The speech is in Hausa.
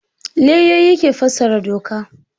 Lauyoyi ke fassara doka.